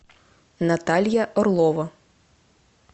наталья орлова